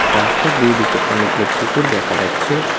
রাস্তার দুই দিকে অনেকগুলো পুকুর দেখা যাচ্ছে।